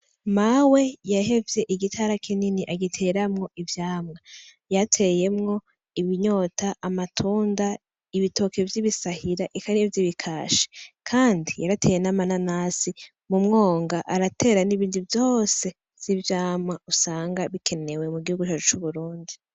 Mawe yahevye igitara kinini agiteramwo ivyamwa , yarateyemwo ibinyota, amatunda, ibitoke vy’ibisahira eka n’ivyibikashi. Kandi yarateye n’amananasi , mu mwonga aratera n’ibindi byose vy’ivyamwa usanga bikenewe mu gihugu cacu c’Uburundi.